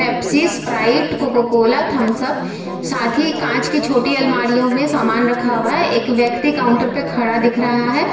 Pepsi Sprite Coca Cola Thums Up साथ ही कांच की छोटी अलमारियों में सामान रखा हुआ है एक व्यक्ति काउंटर पर खड़ा दिख रहा है।